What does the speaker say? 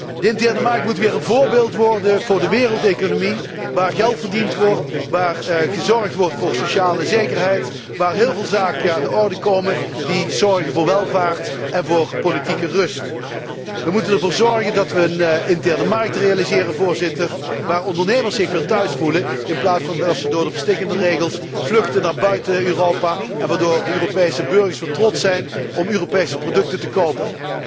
De interne markt moet weer een voorbeeld worden voor de wereldeconomie, waar geld verdiend wordt, waar gezorgd wordt voor sociale zekerheid, waar heel veel zaken aan de orde komen die zorgen voor welvaart en voor politieke rust. We moeten ervoor zorgen dat we een interne markt realiseren, Voorzitter, waar ondernemers zich weer thuis voelen in plaats van dat ze door de verstikkende regels vluchten naar buiten Europa en waar de Europese burgers weer trots zijn om Europese producten te kopen.